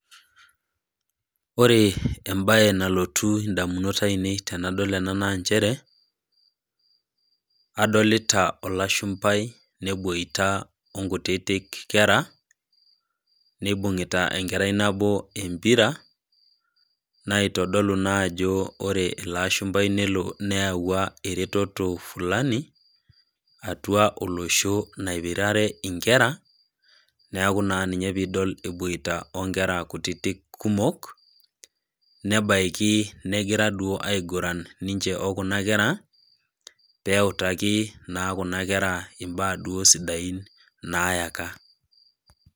Ore embae nalotu nadamunot ainei tenadol enanaa nchere olashumbai neboita onkutitik nebungita enkerai nabo empira natodolu naa ajo ore ilooshambai nelo neyawua ereteto fulani atua oloshonaipirare inkera neeku naa inapidol eboita onkera kutitik kumok nebaiki negira duo aiguran ninche okuna kera peutaki naa kuna kera imbaa duo sidain nayaka.